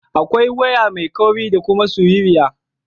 Akwai waya mai kauri da kuma siririya.